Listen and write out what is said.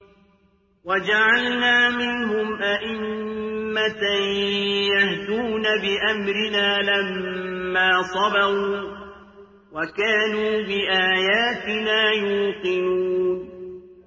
وَجَعَلْنَا مِنْهُمْ أَئِمَّةً يَهْدُونَ بِأَمْرِنَا لَمَّا صَبَرُوا ۖ وَكَانُوا بِآيَاتِنَا يُوقِنُونَ